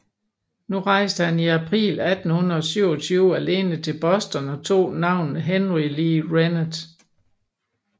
Nu rejste han i april 1827 alene til Boston og tog navnet Henri Le Rennet